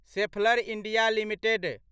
Schaeffler India limited